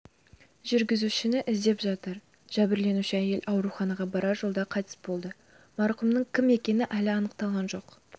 жүргізушіні іздеп жатыр жәбірленуші әйел ауруханаға барар жолда қайтыс болды марқұмның кім екені әлі анықталған жоқ